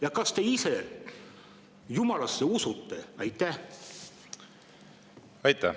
Ja kas te ise Jumalasse usute?